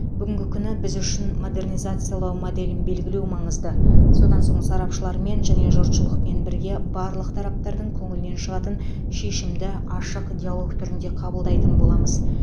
бүгінгі күні біз үшін модернизациялау моделін белгілеу маңызды содан соң сарапшылармен және жұртшылықпен бірге барлық тараптардың көңілінен шығатын шешімді ашық диалог түрінде қабылдайтын боламыз